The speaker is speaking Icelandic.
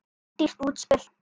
Dýrt útspil.